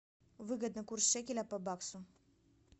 выгодный курс шекеля по баксу